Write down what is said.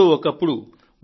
ఎప్పుడో ఒకప్పుడు